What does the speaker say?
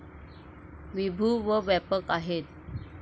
विभू व व्यापक आहेत.